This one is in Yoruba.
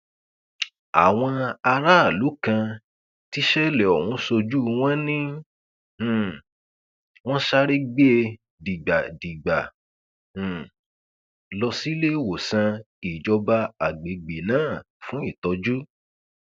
àwọn aráàlú kan tíṣẹlẹ ọhún sójú wọn ni um wọn sáré gbé e dìgbàdìgbà um lọ síléèwòsàn ìjọba àgbègbè náà fún ìtọjú